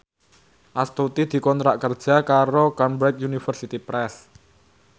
Astuti dikontrak kerja karo Cambridge Universiy Press